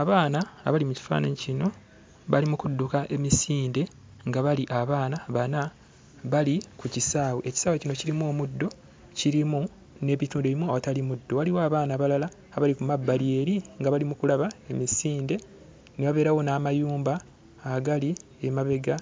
Abaana abali mu kifaananyi kino bali mu kudduka emisinde, nga bali abaana bana bali ku kisaawe. Ekisaawe kino kirimu omuddo, kirimu n'ebituli ebimu omutali muddo. Waliwo n'abaana abalala abali ku mabbali eri nga bali mu kulaba emisinde. Ne wabeerawo n'amayumba agali emabega